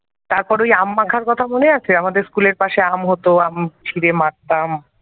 তারপর ঐ আম মাখার কথা মনে আছে আমাদের school এর পাশে আম হতো আম ছিঁড়ে মাখতাম।